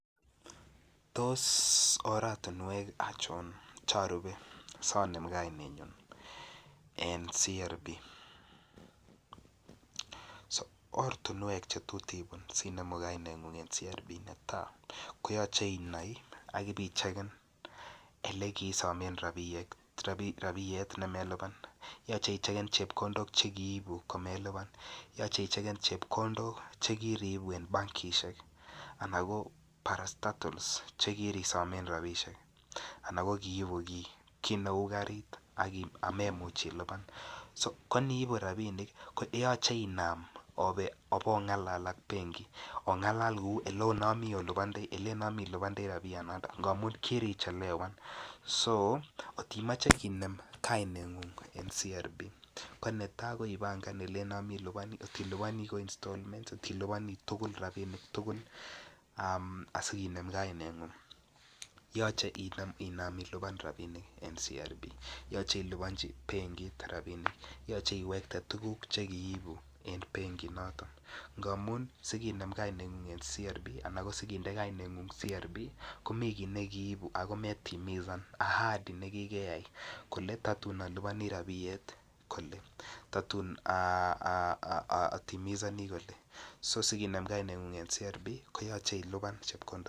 Tos oratinwek ngircho charupe sonem kainenyun en CRB ortinwek Che tot ibun asi inemu kainengung en CRB ko netai ko yoche inai ak ibichegen Ole kiisomen rabisiek ne melipan yoche ichegen chepkondok Che kiibu komelipan yoche ichegen chepkondok Che kiriibu en bankisiek anan ko parastatols Che kirisomen rabisiek anan ko ki ibu kit neu karit amelipan ko aniibu rabinik ko yoche oba obongalal ak benki obongalal kou Ole nomi ilipandoi rabinik amun kirichelewan so kotimoche kinem kainengung en CRB ko netai ko ipangan Ole nomdoi ilipan ak ngot iliponi ko installments kotiliponi rabinik tugul asi kinem kainengung yoche inam ilipan rabinik en CRB yoche ilipanji benkit rabisiek yoche iwekte tuguk Che kiibu en benkinoto ngamun si kinem kainengung en CRB komiten kit ne kiibu ago metimisan ahadi nekikeyai kole tatun alipani rabiet kole kole totun atimisoni kole so kinem kainengung en CRB ko yoche ilipan chepkondok